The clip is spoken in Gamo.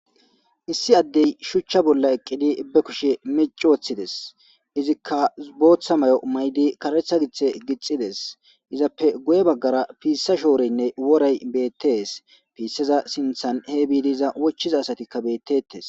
issi addey shuchcha bolla eqqidi be kushe meci woththides izikka booththa may7o maydi karetha githe gixxides izappe goye baggara piissa shoorynne worey bettes piisseza sinthan he biidiza wochiza asatikka bettetes